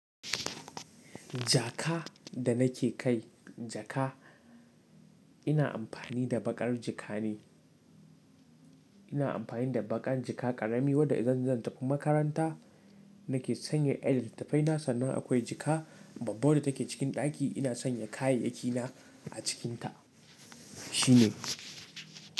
Jaka da nake kai jaka, ina amfani da baƙar jika ne. Ina amfani da baƙar jika ƙarami wadda idan zan tafi makaranta nake sanya ƴan littattafaina sannan akwai jika babba wadda take cikin ɗaki ina sanya kayayyakina a cikinta. Shi ne.